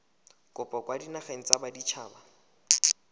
kopo kwa dinageng tsa baditshaba